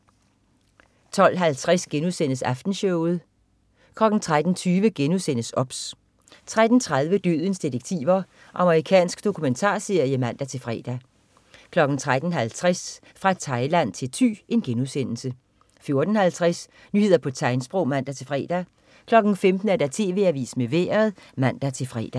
12.50 Aftenshowet* 13.20 OBS* 13.30 Dødens detektiver. Amerikansk dokumentarserie (man-fre) 13.50 Fra Thailand til Thy* 14.50 Nyheder på tegnsprog (man-fre) 15.00 TV AVISEN med Vejret (man-fre)